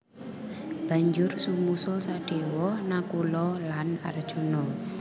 Banjur sumusul Sadewa Nakula lan Arjuna